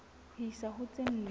ho isa ho tse nne